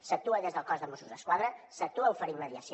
s’actua des del cos de mossos d’esquadra s’actua oferint mediació